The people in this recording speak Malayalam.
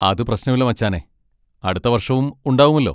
അത് പ്രശ്നമില്ല മച്ചാനെ, അടുത്ത വർഷവും ഉണ്ടാവുമല്ലോ.